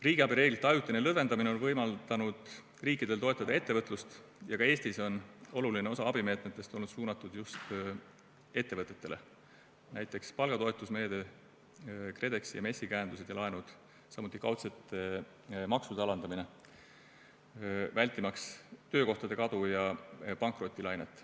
Riigiabireeglite ajutine lõdvendamine on võimaldanud riikidel toetada ettevõtlust ja ka Eestis on oluline osa abimeetmetest olnud suunatud just ettevõtetele, näiteks palgatoetusmeede, KredExi ja MES-i käendused ja laenud, samuti kaudselt maksude alandamine, vältimaks töökohtade kadu ja pankrotilainet.